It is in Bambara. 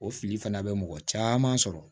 O fili fana bɛ mɔgɔ caman sɔrɔ